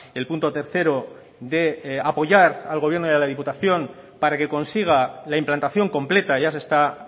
el punto tercero de apoyar al gobierno y a la diputación para que consiga la implantación completa ya se está